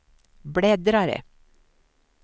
bläddrare